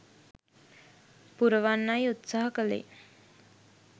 පුරවන්නයි උත්සහ කලේ.